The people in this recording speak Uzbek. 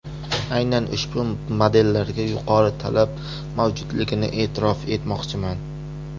Aynan ushbu modellarga yuqori talab mavjudligini e’tirof etmoqchiman.